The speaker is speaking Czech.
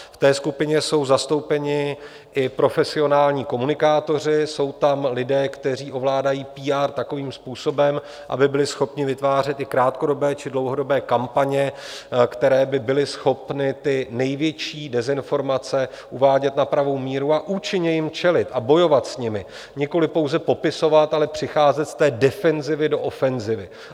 V té skupině jsou zastoupeni i profesionální komunikátoři, jsou tam lidé, kteří ovládají PR takovým způsobem, aby byli schopni vytvářet i krátkodobé či dlouhodobé kampaně, které by byly schopny ty největší dezinformace uvádět na pravou míru a účinně jim čelit a bojovat s nimi, nikoliv pouze popisovat, ale přicházet z té defenzivy do ofenzivy.